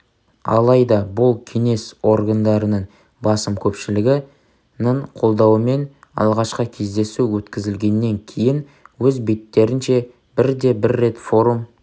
алайда бұл кеңес органдарының басым көпшілігі ның қолдауымен алғашқы кездесу өткізілгеннен кейін өз беттерінше бірде бір рет форум